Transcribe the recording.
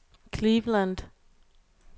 Cleveland